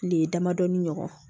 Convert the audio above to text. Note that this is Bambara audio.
Tile damadɔɔni ɲɔgɔn